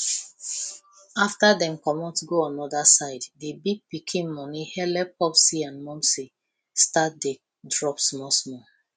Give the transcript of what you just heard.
after dem comot go another side the big pikin money helep popsi and momsi start dey drop smallsmall